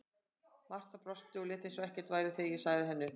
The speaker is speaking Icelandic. Marta brosti og lét eins og ekkert væri þegar ég sagði henni upp.